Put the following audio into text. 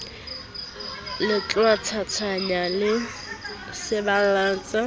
lehwatatanyana le saballetse ho ya